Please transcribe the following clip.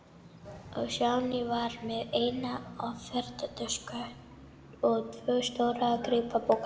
Stjáni var með eina ferðatösku og tvo stóra strigapoka.